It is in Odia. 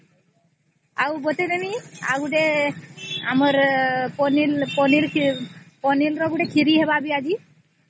ଆଉ କହିଦେବି ପନିର ର ଗୋଟେ ଖଇରୀ ହୁଏ